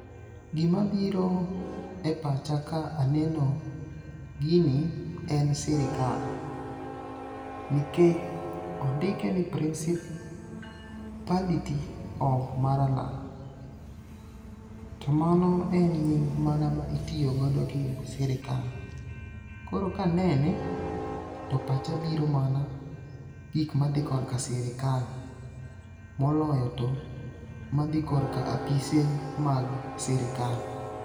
Gima biro e pacha ka aneno gini en sirikal. Nikech ondike ni principality of Maralalal. To mano en nying mana ma itiyogodo gi sirikal. Koro kanene, to pacha biro mana gik madhi kor ka sirikal moloyo to madho korka apise mag sirikal.